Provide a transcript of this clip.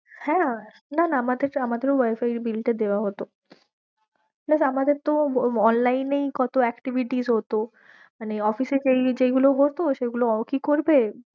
হ্যাঁ, না না আমাদের আমাদেরো wifi bill টা দেওয়া হত plus আমাদের তো online এই কত activities হত মানে office এ যেগুলো হত সেগুলো কি করবে